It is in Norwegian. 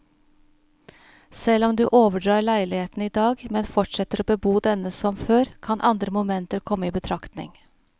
Selv om du overdrar leiligheten i dag, men fortsetter å bebo denne som før, kan andre momenter komme i betraktning.